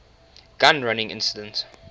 gun running incident